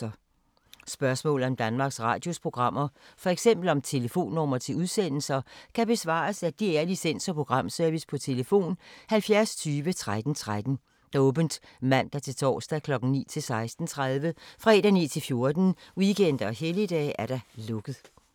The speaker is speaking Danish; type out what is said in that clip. Spørgsmål om Danmarks Radios programmer, f.eks. om telefonnumre til udsendelser, kan besvares af DR Licens- og Programservice: tlf. 70 20 13 13, åbent mandag-torsdag 9.00-16.30, fredag 9.00-14.00, weekender og helligdage: lukket.